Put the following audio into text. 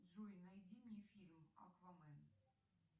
джой найди мне фильм аквамен